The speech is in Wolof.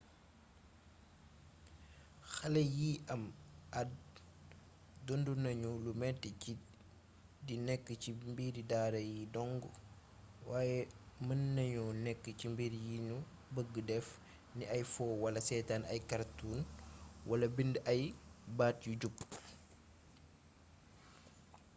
xalé yi am add dundu nagnu lu méti ci di nékk ci mbiri daara yi dongg waye meennagno nék ci mbir yinu beegg def ni ay foo wala séétan ay cartoons wala bind ay baat yu jub